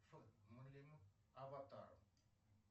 аватар